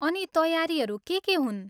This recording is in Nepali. अनि तयारीहरू के के हुन्?